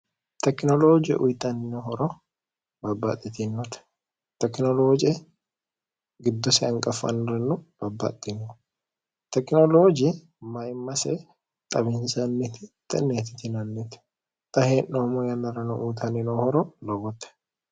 tekinolooje uyixanninohoro babbaxxitinote tekinolooje giddosi anqaffanniranno babbaxxino tekinolooji maimmase xabinsanniti ineeti tinanniti xa hee'noommo yannarano uyitanninoohoro lobote